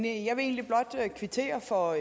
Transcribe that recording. egentlig blot kvittere for